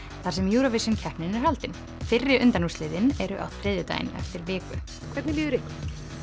þar sem Eurovision keppnin er haldin fyrri undanúrslitin eru á þriðjudaginn eftir viku hvernig líður ykkur